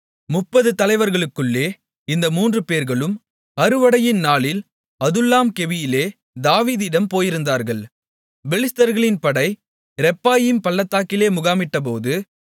முப்பது தலைவருக்குள்ளே இந்த மூன்று பேர்களும் அறுவடையின் நாளில் அதுல்லாம் கெபியிலே தாவீதிடம் போயிருந்தார்கள் பெலிஸ்தர்களின் படை ரெப்பாயீம் பள்ளத்தாக்கிலே முகாமிட்டபோது